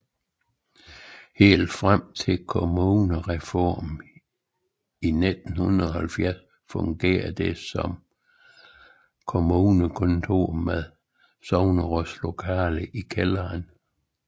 Helt frem til kommunalreformen i 1970 fungerede det også som kommunekontor med sognerådslokale i kælderen